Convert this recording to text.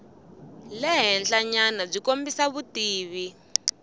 le henhlanyana byi kombisa vutivi